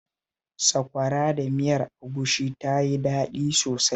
Sakwara da miyar agushin ta yi daɗi sosai